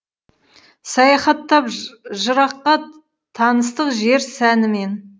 саяхаттап жыраққа таныстық жер сәнімен